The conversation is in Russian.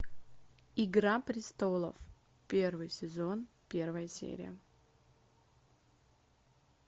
игра престолов первый сезон первая серия